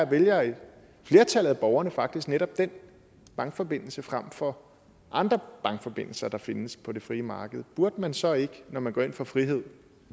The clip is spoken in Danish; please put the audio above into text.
vælger flertallet af borgerne faktisk netop den bankforbindelse frem for andre bankforbindelser der findes på det frie marked burde man så ikke når man går ind for frihed